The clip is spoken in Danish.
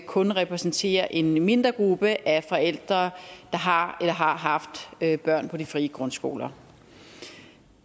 kun repræsenterer en mindre gruppe af forældre der har eller har haft børn på de frie grundskoler